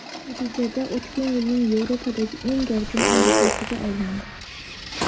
Natijada o‘tgan yilning Yevropadagi eng gavjum aeroportiga aylandi.